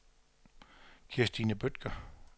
Kirstine Bødker